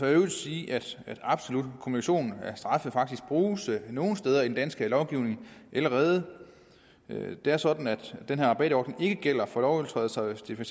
øvrigt sige at absolut kumulation af straffe faktisk bruges nogle steder i den danske lovgivning allerede det er sådan at den her rabatordning ikke gælder for lovovertrædelser hvis det for